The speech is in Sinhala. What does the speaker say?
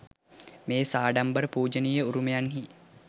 මේ සාඩම්බර පූජනීය උරුමයන්හි